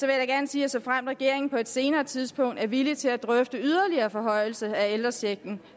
jeg gerne sige at såfremt regeringen på et senere tidspunkt er villig til at drøfte yderligere forhøjelse af ældrechecken